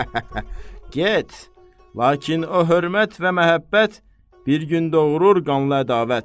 Get, lakin o hörmət və məhəbbət bir gün doğurur qanlı ədavət.